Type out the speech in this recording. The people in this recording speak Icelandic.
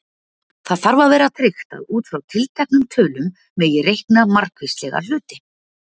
Það þarf að vera tryggt að út frá tilteknum tölum megi reikna margvíslega hluti.